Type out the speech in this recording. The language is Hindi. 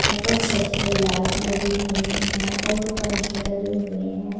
ऊपर छत में लाइट लगी हुई है और पंखे लगे हुए हैं।